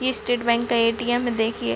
state bank का ATM देखिए--